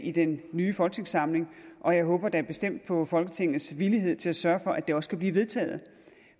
i den nye folketingssamling og jeg håber da bestemt på folketingets villighed til at sørge for at det også kan blive vedtaget